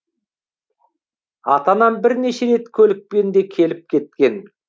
ата анам бірнеше рет көлікпен де келіп кеткен